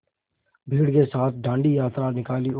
भीड़ के साथ डांडी यात्रा निकाली और